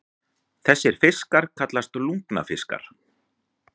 Þessir fiskar kallast lungnafiskar.